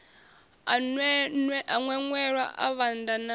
a ṅweṅwela a vhanda na